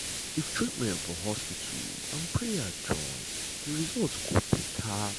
if treatment for hospital and prayer join de result go beta.